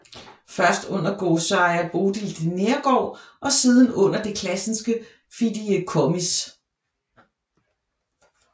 Først under Godsejer Bodil de Neergaard og siden under Det Classenske Fideicommis